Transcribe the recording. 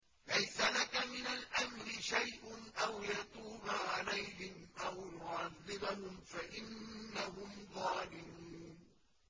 لَيْسَ لَكَ مِنَ الْأَمْرِ شَيْءٌ أَوْ يَتُوبَ عَلَيْهِمْ أَوْ يُعَذِّبَهُمْ فَإِنَّهُمْ ظَالِمُونَ